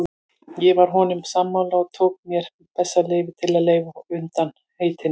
Ég var honum sammála og tók mér það bessaleyfi að leysa hann undan heitinu.